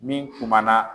Min kumana